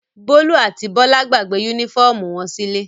Bólú àti Bọ́lá gbàgbé únífọ́ọ́mù wọn sílé.